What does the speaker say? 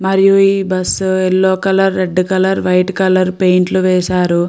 మరియు ఈ bus yellow colour red colour white colour paint లు వేశారు.